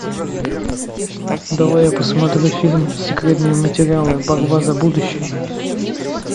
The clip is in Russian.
давай я посмотрю фильм секретные материалы борьба за будущее